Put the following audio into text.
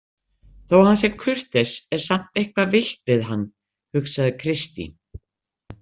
Þó að hann sé kurteis er samt eitthvað villt við hann, hugsaði Kristín.